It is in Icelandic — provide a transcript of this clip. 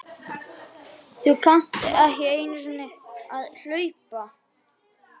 Þú kannt ekki einu sinni að hlaupa